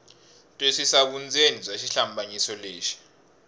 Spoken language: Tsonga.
twisisa vundzeni bya xihlambanyiso lexi